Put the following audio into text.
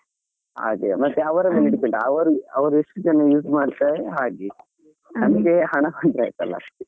ಅದೇ ಮತ್ತೆ ಅವ್ರಾ ಮೇಲೆ depend ಅವ್ರು ಅವ್ರು ಎಷ್ಟ್ ಜನ use ಮಾಡ್ತಾರೆ ಹಾಗೆ ನಮ್ಗೆ ಹಣ ಬಂದ್ರೆ ಆಯ್ತ್ ಅಲ್ಲಾ?